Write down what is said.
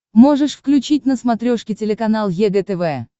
можешь включить на смотрешке телеканал егэ тв